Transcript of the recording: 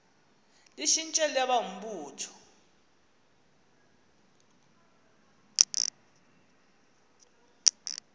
litshintshe libe ngumbutho